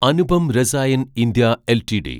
Anupam Rasayan India LTD